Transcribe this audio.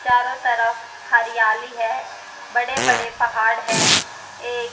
चारों तरफ हरियाली है बड़े बड़े पहाड़ है ये--